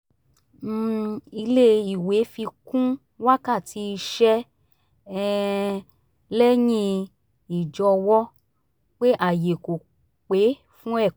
um ilé ìwé fi kún wákàtí iṣẹ́ um lẹ́yìn ìjọwọ́ pé ààyè kò pé fún ẹ̀kọ́